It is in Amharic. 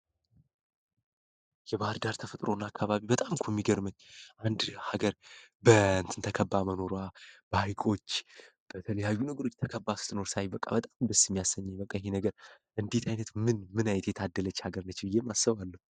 የባህር ዳር ተፈጥሮ እና አካባቢ በጣምኩ የሚገርመኝ አንድ ሀገር በንትን ተከባ መኖራ ባይጎች በተለያዩ ንግሮች ተከባ ስት ኖር ሳይ በቃ በጣም ደስ የሚያሳኘ መቀኒ ነገር እንዴት ዓይነት ምን ምናይት የታደለች ሀገር ናችው ብዬ አሰባለው፡፡